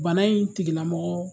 Bana in tigilamɔgɔ